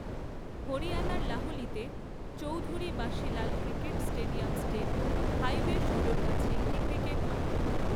হরিয়ানার লাহলিতে Chaudhary Bansi Lal cricket stadium state highway ষোলোর কাছে একটি ক্রিকেট মাঠ।